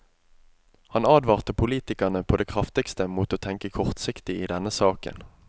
Han advarte politikerne på det kraftigste mot å tenke kortsiktig i denne saken.